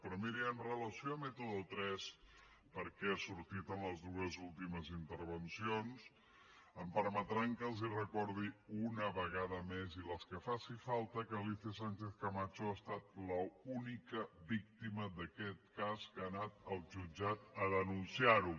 però miri amb relació a método tres perquè ha sortit en les dues últimes intervencions em permetran que els recordi una vegada més i les que faci falta que alícia sánchez camacho ha estat l’única víctima d’aquest cas que ha anat al jutjat a denunciar ho